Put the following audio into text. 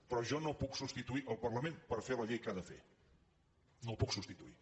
però jo no puc substituir el parlament per fer la llei que ha de fer no el puc substituir